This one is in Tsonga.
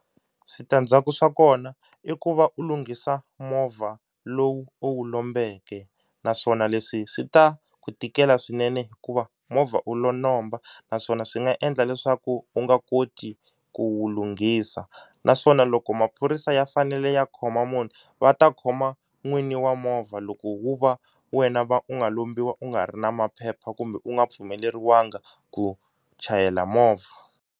Switandzhaku swa kona i ku va u lunghisa movha lowu u wu lombeke naswona leswi swi ta ku tikela swinene hikuva movha u lo lomba, naswona swi nga endla leswaku u nga koti ku wu lunghisa naswona loko maphorisa ya fanele ya khoma munhu va ta khoma n'wini wa movha loko wo va wena u nga lombiwa u nga ri na maphepha kumbe u nga pfumeleriwangi ku chayela movha.